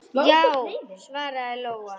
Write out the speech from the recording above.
Já, svaraði Lóa.